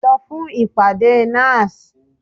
Lọ fún ìpàdé NASS!